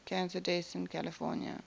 cancer deaths in california